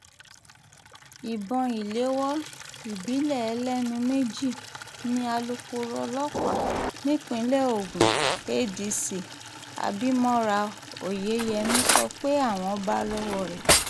ìbọn ìléwọ́ ìbílẹ̀ ẹlẹ́nu méjì ni alūkkoro ọlọ́pàá nípínlẹ̀ ogun adc abimora oyeyèmí sọ pé àwọn bá lọ́wọ́ rẹ̀